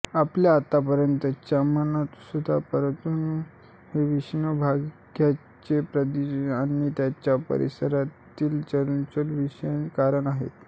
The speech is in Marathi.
आपल्या आतापर्यंतच्या मतानुसार परमाणू हे विशिष्ट भागांचे उद्दीपनाचे आणि त्यांच्या परस्परातील चलनशक्तीविषयीचे कारण आहेत